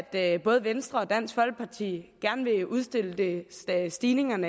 at både venstre og dansk folkeparti gerne vil udstille stigningen